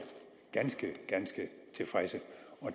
ganske ganske tilfredse